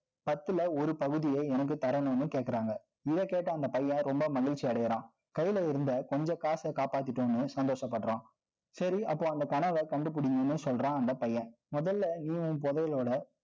பத்துல, ஒரு பகுதியே, எனக்கு தரணும்னு கேக்கறாங்க. இதைக் கேட்ட, அந்தப் பையன், ரொம்ப மகிழ்ச்சி அடையறான் கையில இருந்த, கொஞ்ச காசை காப்பாத்திட்டேன்னு, சந்தோஷப்படுறான். சரி, அப்போ, அந்த கனவை, கண்டுபிடிங்கன்னு, சொல்றான், அந்த பையன். முதல்ல, இவன், புதையலோட